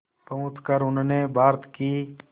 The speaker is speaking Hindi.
पहुंचकर उन्होंने भारत की